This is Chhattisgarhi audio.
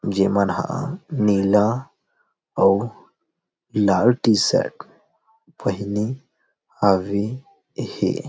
जे मन ह नीला अउ लाल टी-शर्ट पहने हवे हे।